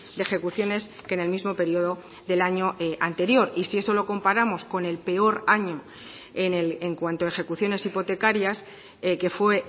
de ejecuciones que en el mismo periodo del año anterior y si eso lo comparamos con el peor año en cuanto a ejecuciones hipotecarias que fue